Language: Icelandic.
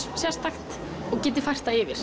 sérstakt og geti fært það yfir